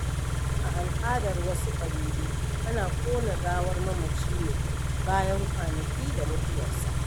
A al’adar wasu ƙabilu, ana ƙona gawar mamaci ne bayan kwanaki da mutuwarsa.